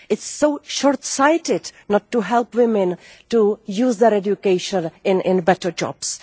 It is so short sighted not to help women to use their education in better jobs.